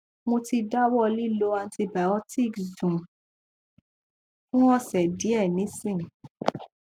mo ti dawọ lilo antibiotics dun fun ose diẹ nisin